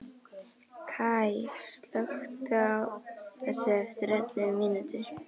Kaj, slökktu á þessu eftir ellefu mínútur.